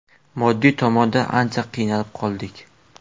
Moddiy tomondan ancha qiynalib qoldik.